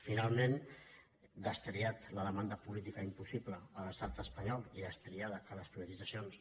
finalment destriada la demanda política impossible a l’estat espanyol i destriat que les priva·titzacions